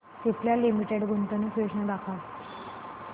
Cipla limited गुंतवणूक योजना दाखव